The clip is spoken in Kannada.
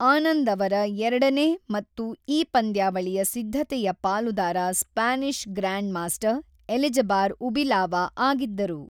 ಆನಂದ್ ಅವರ ಎರಡನೇ ಮತ್ತು ಈ ಪಂದ್ಯಾವಳಿಯ ಸಿದ್ಧತೆಯ ಪಾಲುದಾರ Spanish grandmaster Elizbar Ubilava ಆಗಿದ್ದರು.